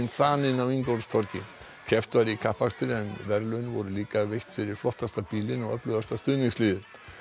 þanin á Ingólfstorgi keppt var í kappakstri en verðlaun voru líka veitt fyrir flottasta bílinn og öflugasta stuðningsliðið